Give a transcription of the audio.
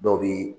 Dɔw bi